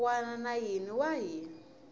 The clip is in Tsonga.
wana na yin wana hi